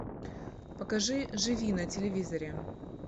покажи живи на телевизоре